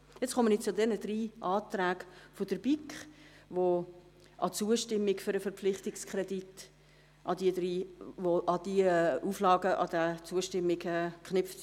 Ich komme nun zu diesen drei Anträgen der BiK, bei dem die Zustimmung zum Verpflichtungskredit an diese drei Auflagen geknüpft ist.